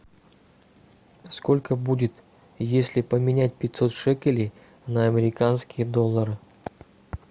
сколько будет если поменять пятьсот шекелей на американские доллары